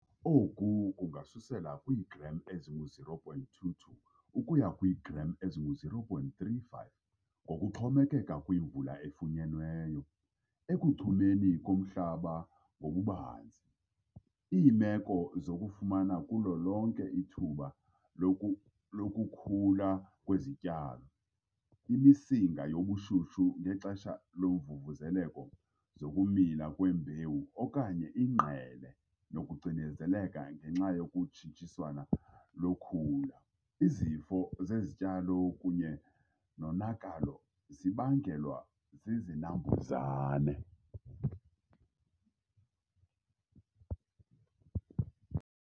Oku kungasusela kwiigram ezingu-0,22 ukuya kwiigram ezingu-0,35 ngokuxhomekeka kwimvula efunyenweyo, ekuchumeni komhlaba ngokubanzi, iimeko zokufumana kulo lonke ithuba lokukhula kwezityalo, imisinga yobushushu ngexesha lomvumvuzeleko zokumila kwembewu okanye ingqele nokucinezeleka ngenxa yokutshintshiswana lokhula, izifo zezityalo kunye nonakalo zibangelwa zizinambuzane.